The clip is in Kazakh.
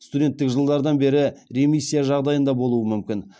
студенттік жылдардан бері ремиссия жағдайында болуы мүмкін